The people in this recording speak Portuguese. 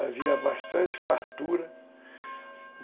Havia bastante fartura.